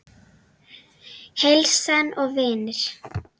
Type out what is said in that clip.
Heilsan og vinir.